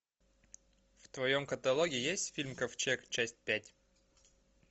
в твоем каталоге есть фильм ковчег часть пять